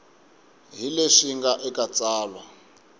hi leswi nga eka tsalwa